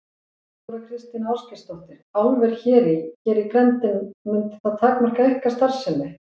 Þóra Kristín Ásgeirsdóttir: Álver hér í, hér í grennd mundi það takmarka ykkar starfsemi?